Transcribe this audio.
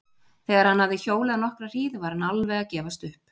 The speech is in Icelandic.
Þegar hann hafði hjólað nokkra hríð var hann alveg að gefast upp.